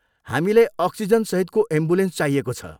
हामीलाई अक्सिजनसहितको एम्बुलेन्स चाहिएको छ।